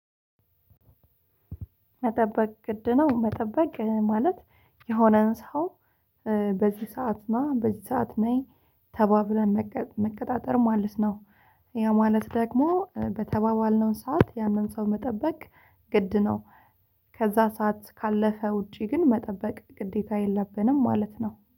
መጠበቅ ግድ ነው መጠበቅ ማለት የሆነን ሰው በዚህ ሰዓት ና በዚህ ሰዓት ነይ ተባብለን መቀጣጠር ማለት ነው። ያ ማለት ደግሞ በተባባልነው ሰዓት ያንን ሰው መጠበቅ ግድ ነው። ከዛ ሰዓት ካለፈ ውጪ ግን መጠበቅ ግዴታ የለብንም ማለት ነው